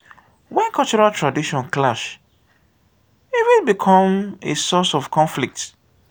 when cultural tradition clash e fit become a source of conflict